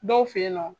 Dɔw fe yen nɔ